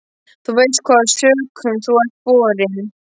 Þú veist hvaða sökum þú ert borinn.